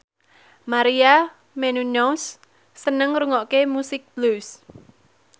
Maria Menounos seneng ngrungokne musik blues